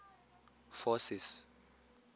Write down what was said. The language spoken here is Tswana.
forces